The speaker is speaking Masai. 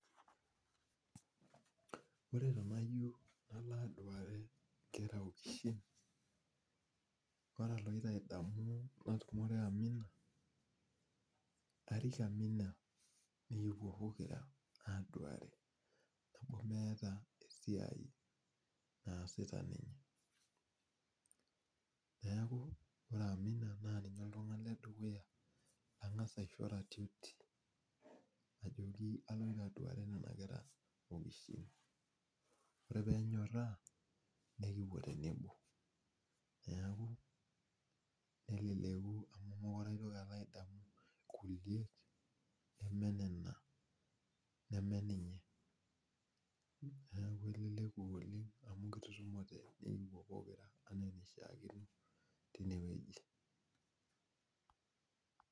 Ore tanajo kalo aduare nkeraokishin ore paloadamu natumore amu arik amina nikipuo pookira aduare temeeta esiai naasita ninye neaku ore amina na ninye oltungani ledukua nangasa aisho oratioti ajo agira alo aduare nona kera okiishin ore penyoraa nikipuo tenebo , neleku amu ore nemee ninye neaku eleleku oleng amu kitutumote pekipuo pokira anaa enishaakino tinewueji.